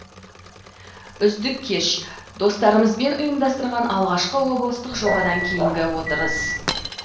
үздік кеш достарымызбен ұйымдастырған алғашқы облыстық жобадан кейінгі отырыс